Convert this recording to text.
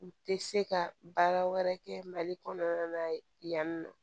U tɛ se ka baara wɛrɛ kɛ mali kɔnɔna na yan nɔ